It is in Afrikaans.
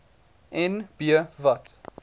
en b wat